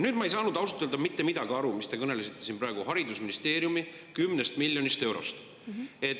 Ma ei saanud ausalt öelda mitte midagi aru sellest, mis te kõnelesite siin praegu haridusministeeriumi 10 miljonist eurost.